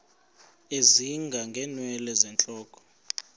ezinga ngeenwele zentloko